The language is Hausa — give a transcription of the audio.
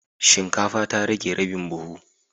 Shinkafa ta rage rabin buhu